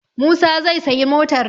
Musa zai sayi motar.